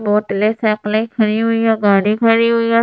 बोतले सकले खड़ी हुई या गाड़ी खरी हुई --